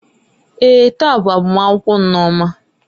Èè, taa bụ agbamakwụkwọ Nneoma.